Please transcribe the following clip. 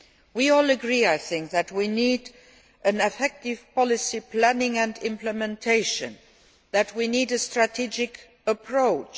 We all agree, I think, that we need effective policy planning and implementation, that we need a strategic approach.